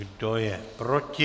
Kdo je proti?